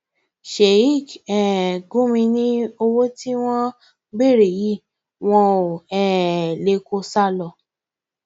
sheik um gumi ni owó tí wọn ń béèrè yìí wọn ò um lè kó o sá lọ